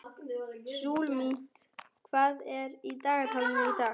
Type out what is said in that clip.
Súlamít, hvað er á dagatalinu í dag?